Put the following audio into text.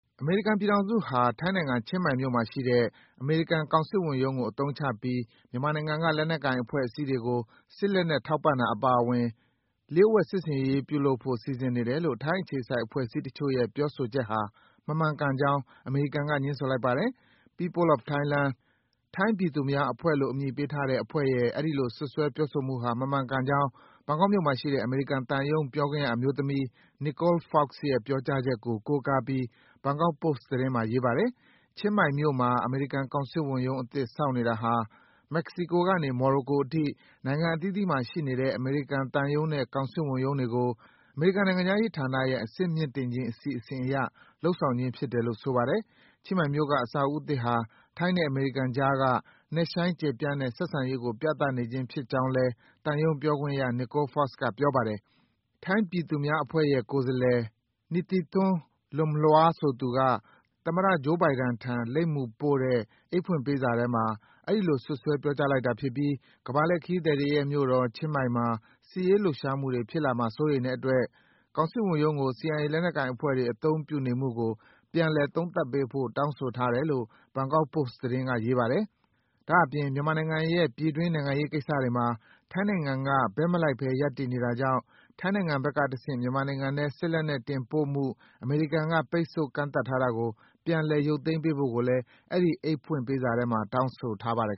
အမေရိကန်ပြည်ထောင်စုဟာ ထိုင်းနိုင်ငံ၊ ချင်းမိုင်မြို့မှာရှိတဲ့ အမေရိကန် ကောင်စစ်ဝန်ရုံးကိုအသုံးချပြီး မြန်မာနိုင်ငံက လက်နက်ကိုင်အဖွဲ့အစည်းတွေကို စစ် လက်နက်ထောက်ပံ့တာအပါအဝင် လျှို့ဝှက် စစ်ဆင်ရေးလုပ်ဖို့ စီစဉ်နေတယ် လို့ ထိုင်းအခြေစိုက်အဖွဲ့အစည်းတချို့ရဲ့ ပြောဆိုချက်ဟာ မမှန်ကန်ကြောင်း အမေရိကန်က ငြင်းဆိုလိုက်ပါတယ်။ “People of Thailand” ထိုင်းပြည်သူများအဖွဲ့-လို့ အမည်ပေးထားတဲ့ အဖွဲ့ရဲ့ အဲဒီလို စွပ်စွဲပြောဆိုမှုဟာ မမှန်ကန်ကြောင်း ဘန်ကောက်မြို့မှာရှိတဲ့ အမေရိကန်သံရုံး ပြောခွင့်ရအမျိုးသမီး Nicole Fox ရဲ့ ပြောကြားချက်ကို ကိုးကားပြီး Bangkok Post သတင်းမှာ ရေးပါတယ်။ ချင်းမိုင်မြို့မှာ အမေရိကန်ကောင်စစ်ဝန်ရုံးအသစ် ဆောက်နေတာဟာ မက္ကဆီကိုကနေ မော်ရိုကိုအထိ နိုင်ငံအသီးသီးမှာရှိနေတဲ့ အမေရိကန်သံရုံးနဲ့ ကောင်စစ်ဝန်ရုံးတွေကို အမေရိကန်နိုင်ငံခြားရေးဌာနရဲ့ အဆင့်မြင့်တင်ခြင်း အစီအစဉ် အရ လုပ်ဆောင်ခြင်းဖြစ်တယ်လို့ ဆိုပါတယ်။ ချင်းမိုင်မြို့က အဆောက်အဦးသစ်ဟာ ထိုင်းနဲ့အမေရိကန်ကြားက နက်ရှိုင်း ကျယ်ပြန်တဲ့ ဆက်ဆံရေးကို ပြသဖြင်းဖြစ်ကြောင်း သံရုံးပြောခွင့်ရ Nicole Fox က ပြောပါတယ်။ ထိုင်းပြည်သူများအဖွဲ့ရဲ့ကိုယ်စားလှယ် Nitithorn Lumlua ဆိုသူက သမ္မတ Joe Biden ထံ လိပ်မူပြီးပို့တဲ့ အိတ်ဖွင့်ပေးစာထဲမှာ အဲဒီလို စွပ်စွဲ ပြောကြားလိုက်တာဖြစ်ပြီး ကမ္ဘာလှည့်ခရီးသည်တွေရဲ့မြို့တော် ချင်းမိုင်မှာ စစ်ရေးလှုပ်ရှားမှုတွေ ဖြစ်လာမှာ စိုးရိမ်တဲ့အတွက် ကောင်စစ်ဝန်ရုံးကို CIA လက်နက်ကိုင်အဖွဲ့တွေ အသုံးပြုနေမှုကို ပြန်လည် သုံးသပ်ပေးဖို့ တောင်းဆိုထားတယ်လို့ Bangkok Post က ရေးပါတယ်။ ဒါ့အပြင် မြန်မာနိုင်ငံရဲ့ ပြည်တွင်း နိုင်ငံရေးကိစ္စတွေမှာ ထိုင်းနိုင်ငံက ဘက်မလိုက်ဘဲ ရပ်တည်နေတာကြောင့် ထိုင်းနိုင်ငံဘက်ကတဆင့် မြန်မာနိုင်ငံထဲ စစ်လက်နက်တင်ပို့မှု အမေရိကန်က ပိတ်ပင်ကန့်သတ်ထားတာကို ပြန်လည် ရုပ်သိမ်းပေးဖို့ကိုလည်း အဲဒီ အိတ်ဖွင့်ပေးစားထဲမှာ တောင်းဆိုထားပါတယ်